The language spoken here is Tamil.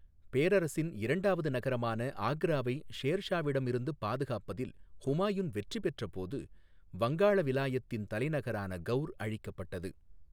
பேரரசின் இரண்டாவது நகரமான ஆக்ராவை ஷேர் ஷாவிடமிருந்து பாதுகாப்பதில் ஹுமாயூன் வெற்றி பெற்றபோது, வங்காள விலாயத்தின் தலைநகரான கவுர் அழிக்கப்பட்டது.